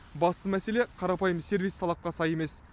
басты мәселе қарапайым сервис талапқа сай емес